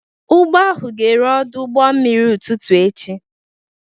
Ụgbọ ahụ ga-eru n'ọdụ ụgbọ mmiri ụtụtụ echi.